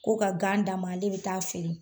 Ko ka gan d'a ma ale bi taa feere